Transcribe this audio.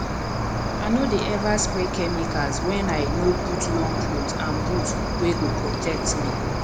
i no dey ever spray chemicals when i no put long cloth and boot wey go protect me